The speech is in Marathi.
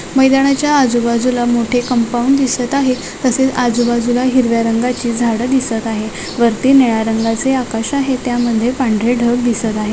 मैदानाच्या आजूबाजूला मोठे कंपाउंड दिसत आहे तसेच आजूबाजूला हिरव्या रंगाचे झाड दिसत आहे वरती निळ्या रंगाचे आकाश आहे त्यामध्ये पांढरे ढग दिसत आहे.